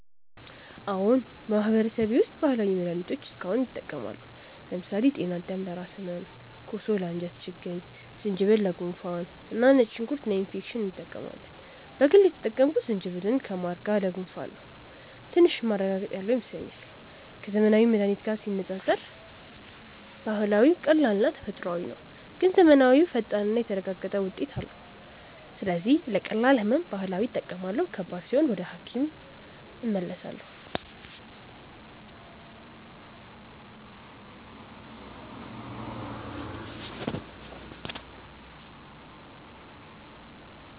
አዎን፣ በማህበረሰቤ ውስጥ ባህላዊ መድሃኒቶች እስካሁን ይጠቀማሉ። ለምሳሌ ጤናዳም ለራስ ህመም፣ ኮሶ ለአንጀት ችግኝ፣ ዝንጅብል ለጉንፋን እና ነጭ ሽንኩርት ለኢንፌክሽን እንጠቀማለን። በግል የተጠቀምኩት ዝንጅብልን ከማር ጋር ለጉንፋን ነው፤ ትንሽ ማረጋገጥ ያለው ይመስለኛል። ከዘመናዊ መድሃኒት ጋር ሲነጻጸር ባህላዊው ቀላልና ተፈጥሯዊ ነው፣ ግን ዘመናዊው ፈጣንና የተረጋገጠ ውጤት አለው። ስለዚህ ለቀላል ህመም ባህላዊ እጠቀማለሁ፣ ከባድ ሲሆን ግን ወደ ሐኪም እመለሳለሁ።